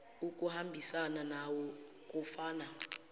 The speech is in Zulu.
ukuhambisana nawo kufana